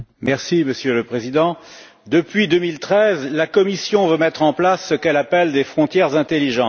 Monsieur le Président, depuis 2013, la Commission veut mettre en place ce qu'elle appelle des frontières intelligentes.